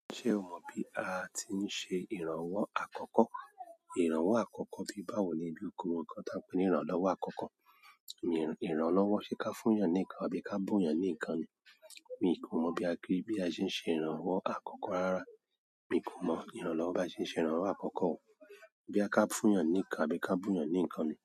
Ṣé o mọ bí a ti ń ṣe ìrànwọ́ àkọ́kọ́? Ìrànwọ́ àkọ́kọ́ bí báwo émi kó mọ nǹkan tí a ń pè ní ìrànlọ́wọ́ àkọ́kọ́. Mi ìrànlọ́wọ́ ṣe ká fún èèyàn ní nǹkan àbí ká bùn èèyàn ní nǹkan ni. Èmi kò mọ̀ bí a ṣe ń ṣe ìrànwọ́ àkọ́kọ́ rárá. Èmi ko mọ ìrànlọ́wọ́ bi a ṣe ń ṣe ìrànlọ́wọ́ àkọkọ́ bí a bá fún èèyàn ní nǹkan àbí ká bun èèyàn ní nǹkan ni.